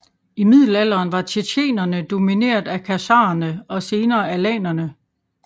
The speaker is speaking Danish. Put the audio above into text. I middelalderen var tjetjenerne domineret af khazarerne og senere alanerne